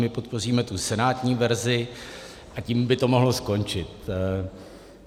My podpoříme tu senátní verzi a tím by to mohlo skončit.